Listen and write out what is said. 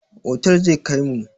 Otal za ka kaimu.